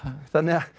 þannig að